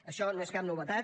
això no és cap novetat